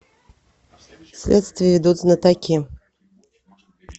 следствие ведут знатоки